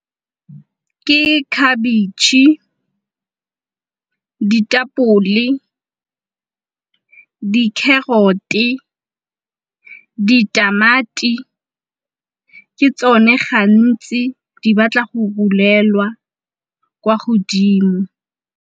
Ke khabetšhe, ditapole, di-carrot-e, ditamati ke tsone gantsi di batla go rulelwa kwa godimo.